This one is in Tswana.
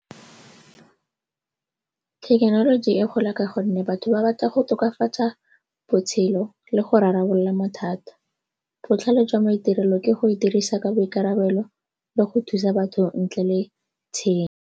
Thekenoloji e gola ka gonne batho ba batla go tokafatsa botshelo le go rarabolola mathata. Botlhale jwa maitirelo ke go e dirisa ka boikarabelo le go thusa batho ntle le tshenyo.